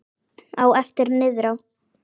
Á eftir niðrá